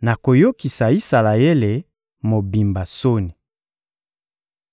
nakoyokisa Isalaele mobimba soni.